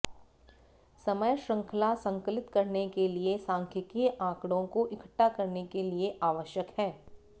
समय श्रृंखला संकलित करने के लिए सांख्यिकीय आंकड़ों को इकट्ठा करने के लिए आवश्यक है